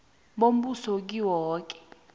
bombuso kiwo woke